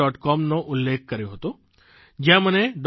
com નો ઉલ્લેખ કર્યો હતો જયાં મને ડો